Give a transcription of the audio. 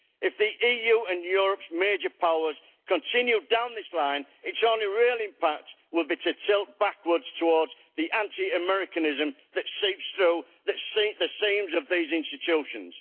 If the EU and Europe's major powers continue down this line, its only real impact will be to tilt backwards towards the anti Americanism that seeps through the seams of these institutions.